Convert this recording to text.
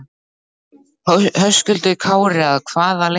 Höskuldur Kári: Að hvaða leyti?